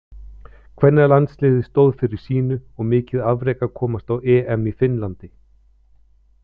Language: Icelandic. Kvennalandsliðið stóð fyrir sínu og mikið afrek að komast á EM í Finnlandi.